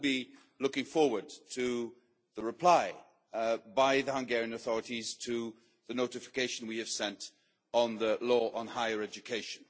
I will be looking forward to the reply by the Hungarian authorities to the notification we have sent on the law on higher education.